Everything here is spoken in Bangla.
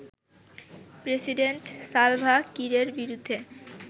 প্রেসিডেন্ট সালভা কিরের বিরুদ্ধে